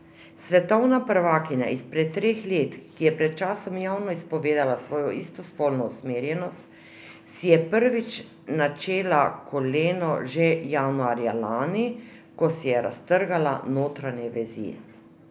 Svetovna prvakinja izpred treh let, ki je pred časom javno izpovedala svojo istospolno usmerjenost, si je prvič načela koleno že januarja lani, ko si je raztrgala notranje vezi.